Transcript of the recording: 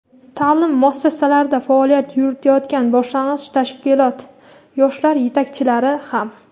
ta’lim muassasalarida faoliyat yuritayotgan boshlang‘ich tashkilot yoshlar yetakchilari ham.